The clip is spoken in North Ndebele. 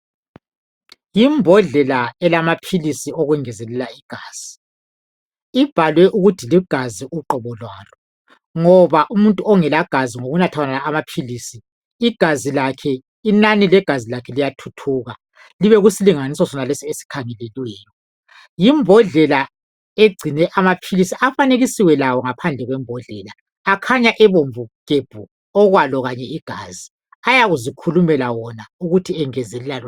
Yimbodlela elamaphilisi okwengezelela igazi ibhalwe ukut ligazi uqobo lwalongoba umuntu ongela gazi ngokunatha wonala amaphilisi igazi lakhe inani legazu lakhe liyathuthuka libe kusilinganiso lesi esikhangelelweyo yimbodlela egcine amaphilisi afanekisiwe lawo naphandle kwembhodlela akhanya ebomvu gebhu okwelo igazi ayazikhulumela wona ukut ayengezelela lona